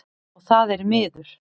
Og það er miður.